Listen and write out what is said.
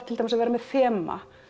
til dæmis að vera með þema